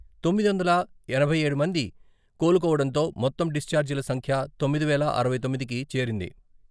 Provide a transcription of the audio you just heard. తొమ్మిది వందల ఎనభై ఏడు మంది కోలుకోవడంతో మొత్తం డిశ్చార్జిల సంఖ్య తొమ్మిది వేల అరవై తొమ్మిదికి చేరింది.